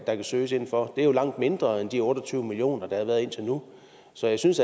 der kan søges inden for det er jo langt mindre end de otte og tyve million kr der har været indtil nu så jeg synes